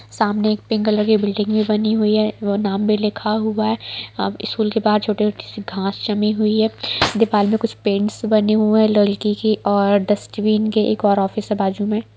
सामने एक pink colour की बिल्डिंगे बनी हुई है और नाम भी लिखा हुआ है अ स्कूल के बाहर छोटी-छोटी सी घास जमी हुई है दीवार में कुछ पेंट्स बनी हुई है लड़की की और डस्ट्बिन के एक और ऑफिस है बाजू में।